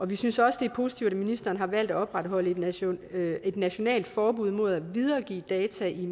vi synes også det er positivt at ministeren har valgt at opretholde et nationalt et nationalt forbud mod at videregive data i